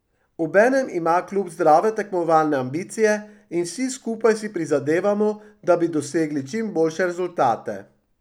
Obenem ima klub zdrave tekmovalne ambicije in vsi skupaj si prizadevamo, da bi dosegli čim boljše rezultate.